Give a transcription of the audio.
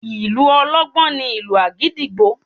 Ìlù ọlọ́gbọ́n ni ìlù àgídìgbo